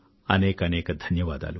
అనేకానేక ధన్యవాదాలు